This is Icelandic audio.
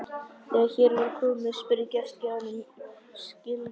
Þegar hér var komið spurði gestgjafinn um skilríki.